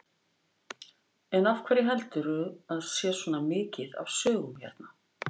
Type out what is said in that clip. En af hverju heldurðu að sé svona mikið af sögum hérna?